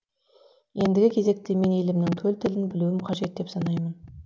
ендігі кезекте мен елімнің төл тілін білуім қажет деп санаймын